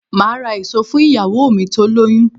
Máà ra èso fún ìyàwó mi tó lóyún